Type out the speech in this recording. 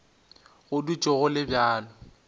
go dutše go le bjalo